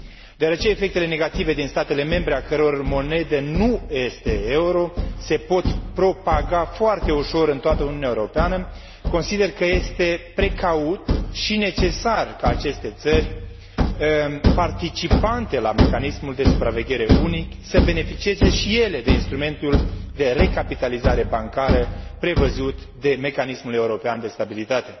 Deoarece efectele negative din statele membre a căror monedă nu este euro se pot propaga foarte ușor în toată Uniunea Europeană, consider că este precaut și necesar ca aceste țări participante la mecanismul de supraveghere unic, să beneficieze și ele de instrumentul de recapitalizare bancară prevăzut de Mecanismul european de stabilitate.